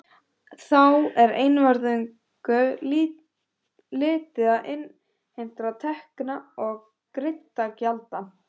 Þá er einvörðungu litið til innheimtra tekna og greiddra gjalda.